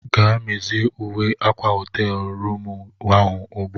Gaa mezie uwe akwa họteelu rụmụ ahụ ugbu a!